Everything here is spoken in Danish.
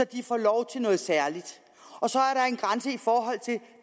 de får lov til noget særligt og så